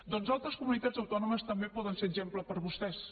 doncs altres comunitats autònomes també poden ser exemple per a vostès